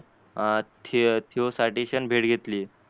अं थिव थिव साठीशियन भेट घेतली.